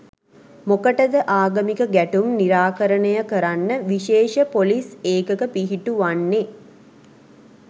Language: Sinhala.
මොකටද ආගමික ගැටුම් නිරාකරණය කරන්න විශේෂ පොලිස් ඒකක පිහිටුවන්නේ.